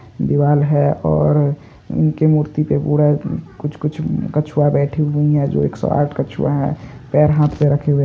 दीवाल है और उनके मूर्ति पे पूरा कुछ कुछ कछुआ बैठी हुई हैं जो एक सौ आठ कछुआ हैंपैर-हाँथ पे रखे हुए --